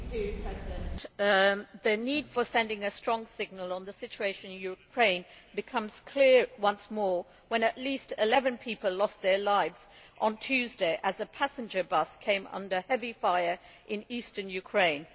Mr President, the need to send a strong signal on the situation in Ukraine became clear once more when at least 11 people lost their lives on Tuesday as a passenger bus came under heavy fire in Eastern Ukraine.